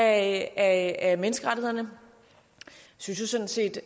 af menneskerettighederne vi synes sådan set